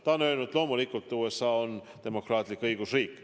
Ta on öelnud: loomulikult, USA on demokraatlik õigusriik.